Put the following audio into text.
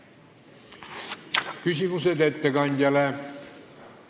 Küsimused ettekandjale?